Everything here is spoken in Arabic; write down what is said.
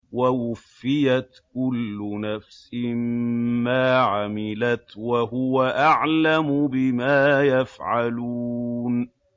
وَوُفِّيَتْ كُلُّ نَفْسٍ مَّا عَمِلَتْ وَهُوَ أَعْلَمُ بِمَا يَفْعَلُونَ